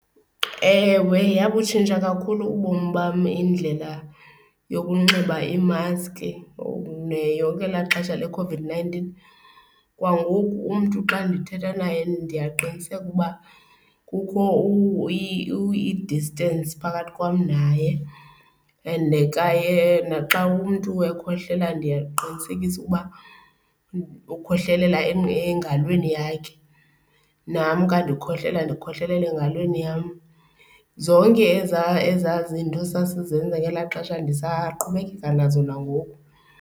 Ewe, yabutshintsha kakhulu ubomi bam indlela yokunxiba imaski yonke elaa xesha leCOVID-nineteen. Kwangoku umntu xa ndithetha naye ndiyaqiniseka uba kukho i-distance phakathi kwam naye. And kwaye naxa umntu ekhohlela ndiyaqinisekisa ukuba ukhohlelela engalweni yakhe, nam ka ndikhohlela ndikhohlelela engalweni yam. Zonke ezaa, ezaa zinto sasizenza ngelaa xesha ndisaqhubekeka nazo nangoku.